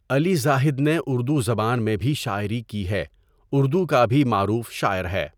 علی زاہد نے اردو زبان میں بھی شاعری کی ہے اردو کا بھی معروف شاعر ہے.